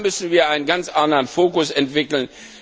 Da müssen wir einen ganz anderen Focus entwickeln.